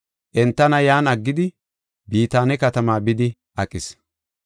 Entana yan aggidi Bitaane katamaa bidi aqis.